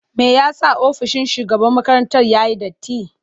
Me yasa ofishin shugaban makarantar yayi datti?